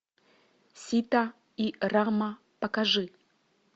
сита и рама покажи